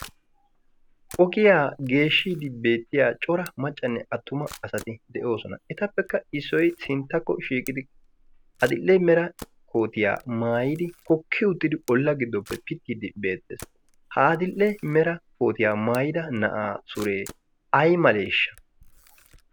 Ogiyaa geeshshidi beettiya cora maccanne attuma asati de'oosona. Etappekka issoy sinttakko shiiqidi adl"e mera koottiya maayidi hokki uttidi ola giddoppe pitide beettees. Ha adil"e meraa kootriya maayyida na'aa sure ay maleshsha?